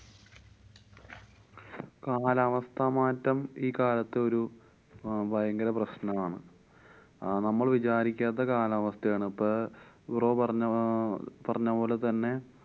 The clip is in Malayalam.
കാലാവസ്ഥാമാറ്റം ഈ കാലത്തൊരു ഭയങ്കര പ്രശ്നമാണ്. അഹ് നമ്മള്‍ വിചാരിക്കാത്ത കാലാവസ്ഥയാണ് പ്പൊ bro പറഞ്ഞ~ പറഞ്ഞപോലെതന്നെ